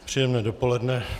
Příjemné dopoledne.